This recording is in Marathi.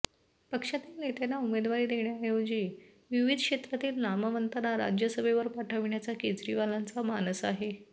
पक्षातील नेत्यांना उमेदवारी देण्याऐवजी विविध क्षेत्रांतील नामवंतांना राज्यसभेवर पाठविण्याचा केजरीवालांचा मानस आहे